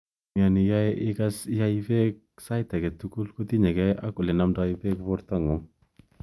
Mioni ae ikas chito iai pek sait akei tugul ko tinyegei ak ole nomdoi pek porto ngung.